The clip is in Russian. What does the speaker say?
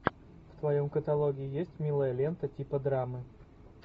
в твоем каталоге есть милая лента типа драмы